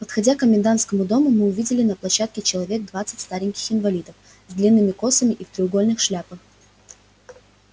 подходя к комендантскому дому мы увидели на площадке человек двадцать стареньких инвалидов с длинными косами и в треугольных шляпах